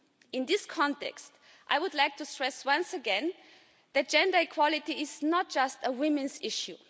In this context, I would like to stress once again that gender equality is not just a women's issue.